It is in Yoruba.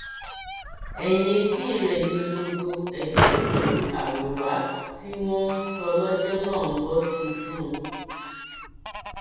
ẹyìn etí rẹ ni gbogbo ẹbẹ pẹlú àrọwà tí wọn ń sọ lọjọ náà ń bọ sí fún un